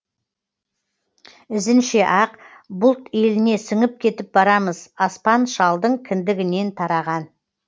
ізінше ақ бұлт еліне сіңіп кетіп барамыз аспан шалдың кіндігінен тараған